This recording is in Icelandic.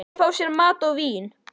Þau fá sér mat og vín.